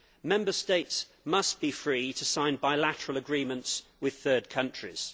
Member States must be free to sign bilateral agreements with third countries.